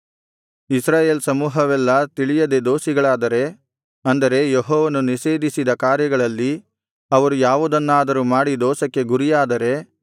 ಇಸ್ರಾಯೇಲರ ಸಮೂಹವೆಲ್ಲಾ ತಿಳಿಯದೆ ದೋಷಿಗಳಾದರೆ ಅಂದರೆ ಯೆಹೋವನು ನಿಷೇಧಿಸಿದ ಕಾರ್ಯಗಳಲ್ಲಿ ಅವರು ಯಾವುದನ್ನಾದರೂ ಮಾಡಿ ದೋಷಕ್ಕೆ ಗುರಿಯಾದರೆ